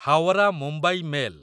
Howrah Mumbai mail